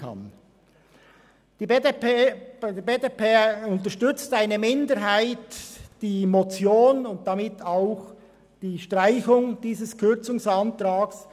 Seitens der BDP unterstützt eine Minderheit die Motion und damit auch die Streichung dieses Kürzungsantrags.